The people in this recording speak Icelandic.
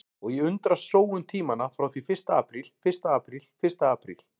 Og ég undrast sóun tímanna frá því fyrsta apríl fyrsta apríl fyrsta apríl.